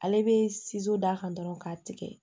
Ale bɛ d'a kan dɔrɔn k'a tigɛ